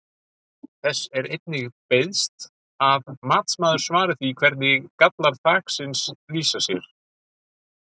Þess er einnig beiðst að matsmaður svari því hvernig gallar þaksins lýsa sér?